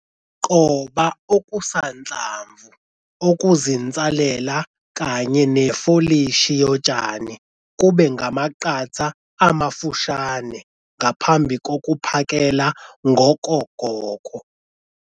Qoba okusanhlamvu okuzinsalela kanye nefolishi yotshani kube ngamaqatha amafushane ngaphambi kokuphakela ngokogoko.